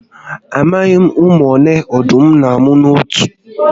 Amaghi m ụmụ ole ọdụm n'amụ n'otu mmụ